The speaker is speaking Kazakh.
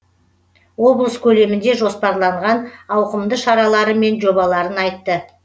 облыс көлемінде жоспарланған ауқымды шаралары мен жобаларын айтты